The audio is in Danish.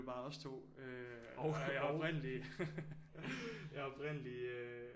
Bare os to jeg er oprindelig jeg er oprindelig øh